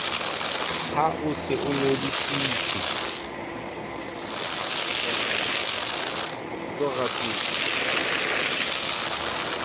ha o se o ngodisitse